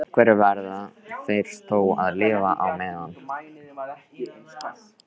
Á einhverju verða þeir þó að lifa á meðan.